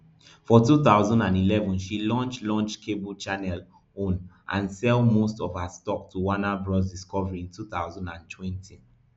for two thousand and eleven she launch launch cable channel own and sell most of her stock to warner bros discovery in two thousand and twenty